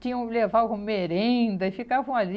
Tinham que levar alguma merenda e ficavam ali.